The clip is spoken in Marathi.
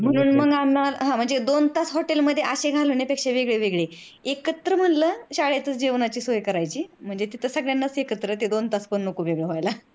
म्हणून म्हणजे दोन तास hotel असे घालवण्यापेक्षा वेगळे वेगळे एकत्र म्हणल शाळेत च जेवणाची सोय करायची म्हणजे तिथं एकत्र सगळ्यांना ते दोन तास पन नको वेगळ होयला.